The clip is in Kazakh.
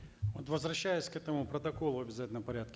вот возвращаясь к этому протоколу в обязательном порядке